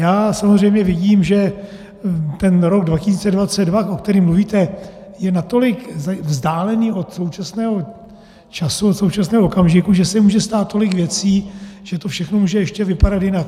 Já samozřejmě vidím, že ten rok 2022, o kterém mluvíte, je natolik vzdálený od současného času, od současného okamžiku, že se může stát tolik věcí, že to všechno může ještě vypadat jinak.